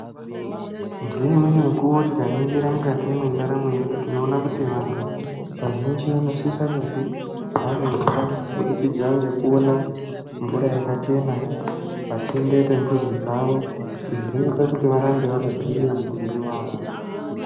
Ngeimweni mukuwo tikaningira mukati mwendaramo yedu tinoona kuti vantu vazhinji vanosisa kunge vane utano kubudikidza ngekuona mvura yakachena pasinde nembuzi dzavo. Izvi zvinoita kuti varambe vakagwinya mutumbi wavo.